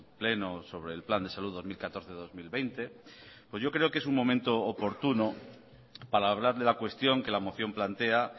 pleno sobre el plan de salud dos mil catorce dos mil veinte pues yo creo que es un momento oportuno para hablar de la cuestión que la moción plantea